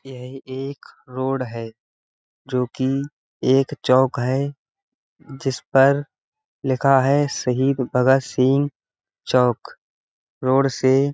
यह एक रोड है जोकि एक चौक है जिसपर लिखा है शहीद भगत सिंह चौक रोड से --